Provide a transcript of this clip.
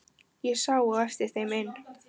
Ég sá á eftir þeim inn.